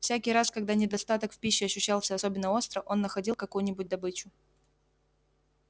всякий раз когда недостаток в пище ощущался особенно остро он находил какую нибудь добычу